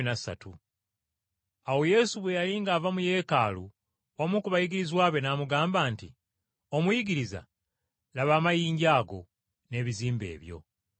Awo Yesu bwe yali ng’ava mu Yeekaalu omu ku bayigirizwa be n’amugamba nti, “Omuyigiriza, laba, amayinja ago, n’ebizimbe ebyo.”